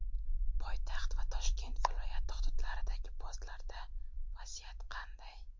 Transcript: Poytaxt va Toshkent viloyati hududlaridagi postlarda vaziyat qanday?.